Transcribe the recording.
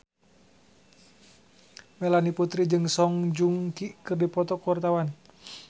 Melanie Putri jeung Song Joong Ki keur dipoto ku wartawan